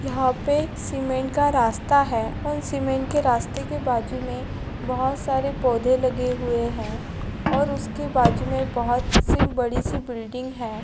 यहा पे सीमेंट का रास्ता है और सीमेंट के रास्ते के बाजु मे बहुत सारे पोदे लगे हुए है और उसके बाजू मे बहुत सी बड़ी सी बिल्डिंग है।